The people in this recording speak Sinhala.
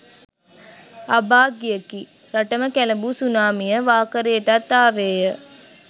අභාග්‍යයකි! රටම කැළඹූ සුනාමිය වාකරේටත් ආවේය.